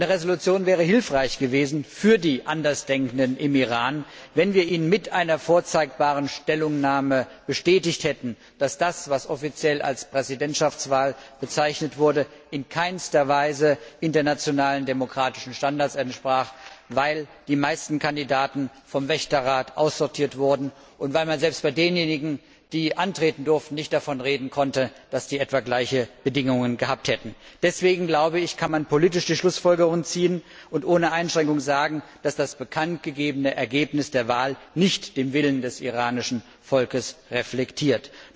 Eine Entschließung wäre für die Andersdenkenden im Iran hilfreich gewesen, wenn wir ihnen mit einer vorzeigbaren Stellungnahme bestätigt hätten, dass das, was offiziell als Präsidentschaftswahl bezeichnet wurde, in keiner Weise internationalen demokratischen Standards entsprach, weil die meisten Kandidaten vom Wächterrat aussortiert wurden und weil man selbst bei denjenigen, die antreten durften, nicht davon reden konnte, dass sie gleiche Bedingungen gehabt hätten. Deswegen kann man politisch die Schlussfolgerung ziehen und ohne Einschränkung sagen, dass das bekanntgegebene Ergebnis der Wahl nicht den Willen des iranischen Volkes reflektiert.